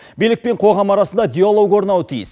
билік пен қоғам арасында диалог орнауы тиіс